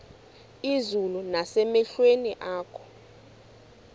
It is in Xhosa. izulu nasemehlweni akho